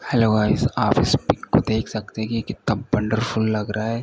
Hello guys आप इस pic को देख सकते हैं कि ये कितना वंडरफुल लग रहा है।